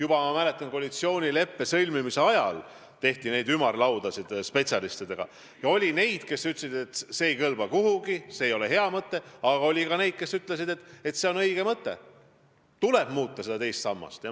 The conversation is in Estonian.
Ma mäletan, et juba koalitsioonileppe sõlmimise ajal korraldati ümarlaudasid spetsialistidega ja oli neid, kes ütlesid, et see ei kõlba kuhugi, see ei ole hea mõte, aga oli ka neid, kes ütlesid, et see on õige mõte, tuleb seda teist sammast muuta.